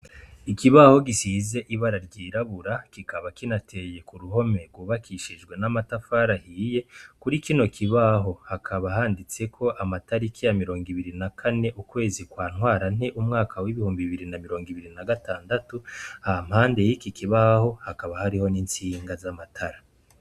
Ikibaho gisize ibara ry'irabura kikaba kinateye kuruhome rwubakishijwe n'amatafari ahiye kuri kino kibaho hakaba handitseko amataliki ya mirongo ibiri na kane ukwezi kwa ntwara nte umwaka w'ibihumbi bibiri na mirongo ibiri na gatandatu hampande yiki kibaho hakaba hariho n'insiga z'amatara.